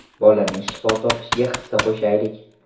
Bolaning shifo topishiga hissa qo‘shaylik!.